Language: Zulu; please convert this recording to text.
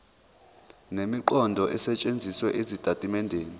nemiqondo esetshenzisiwe ezitatimendeni